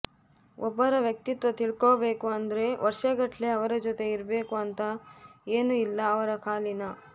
ಒಬ್ಬರ ವ್ಯಕ್ತಿತ್ವ ತಿಳ್ಕೊಬೇಕು ಅಂದ್ರೆ ವರ್ಷಗಟ್ಲೆ ಅವರ ಜೊತೆ ಇರ್ಬೇಕು ಅಂತ ಏನು ಇಲ್ಲ ಅವರ ಕಾಲಿನ